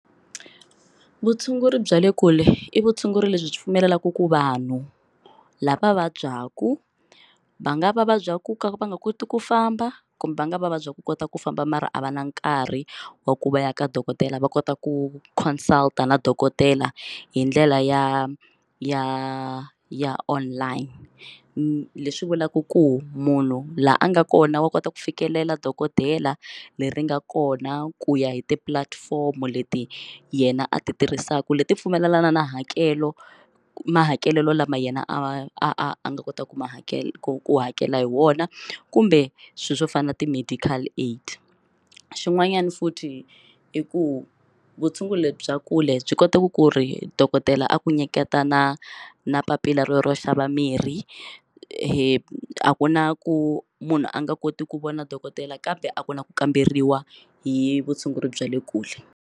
Vutshunguri bya le kule i vutshunguri lebyi byi pfumelelaka ku vanhu lava vabyaka va nga va vabya ku ka va nga koti ku famba kumbe va nga va vabya ku kota ku famba mara a va na nkarhi wa ku va ya ka dokodela va kota ku consult na dokodela hi ndlela ya ya ya online leswi vulaka ku munhu la a nga kona wa kota ku fikelela dokodela leri nga kona ku ya hi ti platform leti yena a ti tirhisaka leti pfumelelana na hakelo mahakelelo lama yena a nga kotaka ku ma hakela ku hakela hi wona kumbe swilo swo fana na ti medical aid xin'wanyana futhi i ku vutshunguri lebyi bya kule byi kotaku ku ri dokodela a ku nyiketa na na papila ro ro xava mirhi a ku na ku munhu a nga koti ku vona dokodela kambe a ku na ku kamberiwa hi vutshunguri bya le kule.